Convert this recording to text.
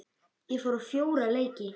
Ég fór á fjóra leiki.